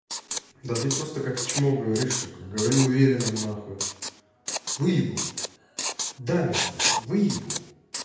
да ты просто как чмо говоришь сука говори уверенно нахуй выебу бля да мир сука выебу